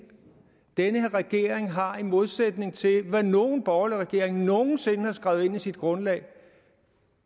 den her regering har i modsætning til hvad nogen borgerlig regering nogen sinde har skrevet ind i sit grundlag